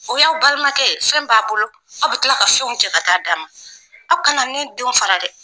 O y'aw balimakɛ ye fɛn b'a bolo, aw bɛ kila ka fɛnw cɛ ka taa dama. Aw kana ne denw fara dɛ.